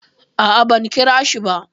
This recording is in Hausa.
A'a, ban kirashi ba.